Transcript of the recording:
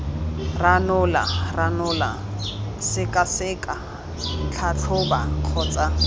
ranola ranola sekaseka tlhatlhoba kgotsa